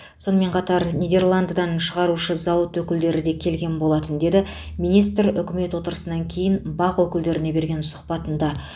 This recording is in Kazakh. сонымен қатар нидерландыдан шығарушы зауыт өкілдері де келген болатын деді министр үкімет отырысынан кейін бақ өкілдеріне берген сұхбатында